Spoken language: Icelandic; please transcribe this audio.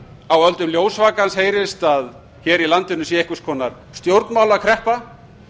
á öldum ljósvakans heyrist að hér í landinu sé einhvers konar stjórnmálakreppa